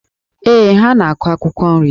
Ee, ha na-akụ akwụkwọ nri.